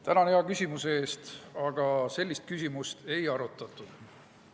Tänan hea küsimuse eest, aga sellist küsimust ei arutatud.